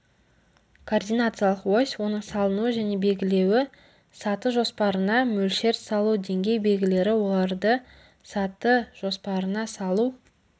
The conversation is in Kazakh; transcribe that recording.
координациялық ось оның салынуы және белгілеуі саты жоспарына мөлшер салу деңгей белгілері оларды саты жоспарына салу